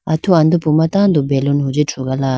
atu andupu ma tando baloon rethrugala.